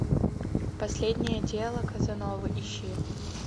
последнее дело казановы ищи